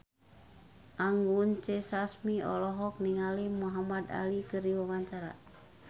Anggun C. Sasmi olohok ningali Muhamad Ali keur diwawancara